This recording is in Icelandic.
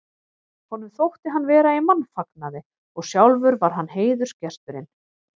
Honum þótti hann vera í mannfagnaði og sjálfur var hann heiðursgesturinn.